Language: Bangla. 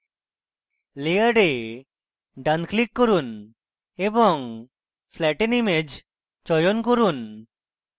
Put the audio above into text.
layer ডান click করুন এবং flatten image চয়ন করুন